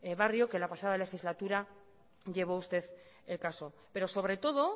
barrio que la pasada legislatura llevó usted el caso pero sobre todo